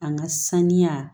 An ka sanuya